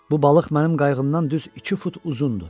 Bu balıq mənim qayğımdan düz iki fut uzundu.